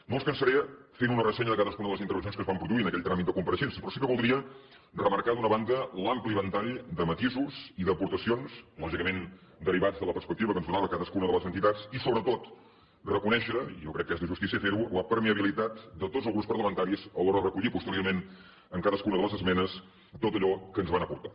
no els cansaré fent una ressenya de cadascuna de les intervencions que es van produir en aquell tràmit de compareixences però sí que voldria remarcar d’una banda l’ampli ventall de matisos i d’aportacions lògicament derivats de la perspectiva que ens donava cadascuna de les entitats i sobretot reconèixer i jo crec que és de justícia fer ho la permeabilitat de tots els grups parlamentaris a l’hora de recollir posteriorment en cadascuna de les esmenes tot allò que ens van aportar